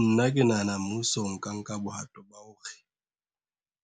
Nna ke nahana mmuso o ka nka bohato ba hore,